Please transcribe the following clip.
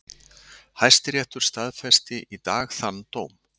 Hæstiréttur staðfesti í dag þann dóm